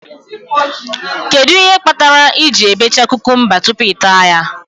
Kedụ ihe kpatara I ji ebecha kukumba tupu ị taa ya?